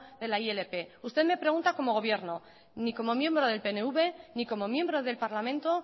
de la ilp usted me pregunta como gobierno ni como miembro del pnv ni como miembro del parlamento